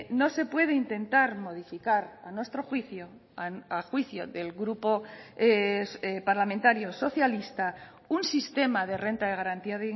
no se puede intentar modificar a nuestro juicio a juicio del grupo parlamentario socialista un sistema de renta de garantía